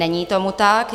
Není tomu tak.